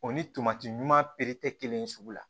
O ni tomati ɲuman peri tɛ kelen sugu la